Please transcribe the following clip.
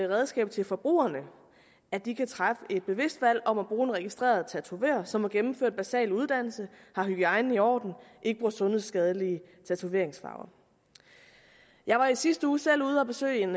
redskab til forbrugerne at de kan træffe et bevidst valg om at bruge en registreret tatovør som har gennemført en basal uddannelse har hygiejnen i orden og ikke bruger sundhedsskadelige tatoveringsfarver jeg var i sidste uge selv ude at besøge en